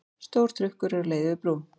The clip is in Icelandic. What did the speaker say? Stór trukkur er á leið yfir brú.